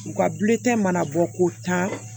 U ka mana bɔ k'o ta